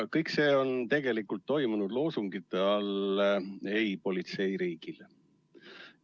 Kõik see on tegelikult toimunud loosungi all "Ei politseiriigile!".